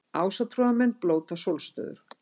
Ásatrúarmenn blóta sólstöður